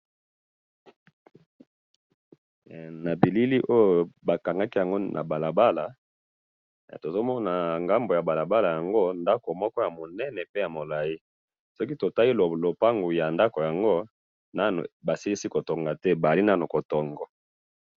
Na moni ndako na kati ya lopango baza ko tonga esili nanu te.